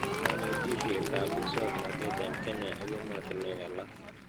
Kanetishetab muswonotet eng Kenya ak ematinwek alak